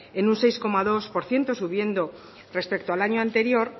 en un seis coma dos por ciento subiendo respecto al año anterior